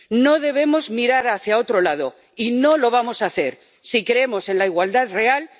No debemos mirar hacia otro lado y no lo vamos a hacer si creemos en la igualdad real.